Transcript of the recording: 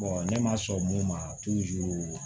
ne ma sɔn mun ma